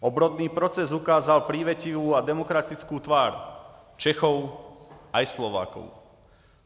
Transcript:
Obrodný proces ukázal přívětivou a demokratickou tvář Čechů i Slováků.